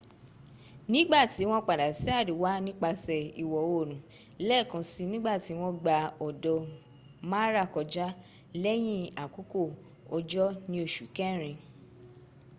nìgbàtí wọ́n padà sí àríwá nípasẹ̀ ìwọ oòrùn lẹ́ẹ̀kan si nígbàtí wọ́n gba odò mara kọjá lẹ́yìn àkókò òjò ní oṣù kẹrin